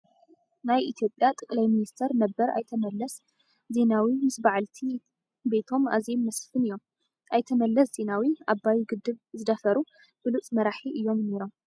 ናይ ኢትዮጵያ ጠቅላይ ሚኒስተር ነበር ኣይተ መለስ ዜናዊ ምስ ባዓልቲ ቤቶም ኣዜም መስፍን እዮም ። ኣይተ መለስ ዜናዊ ኣባይ ግድብ ዝደፈሩ ብሉፅ መራሒ እዮም ነሮም ።